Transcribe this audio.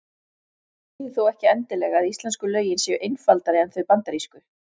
Það þýðir þó ekki endilega að íslensku lögin séu einfaldari en þau bandarísku.